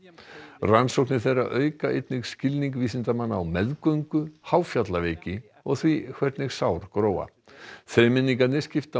rannsóknir þeirra auka einnig skilning vísindamanna á meðgöngu og því hvernig sár gróa þremenningarnir skipta á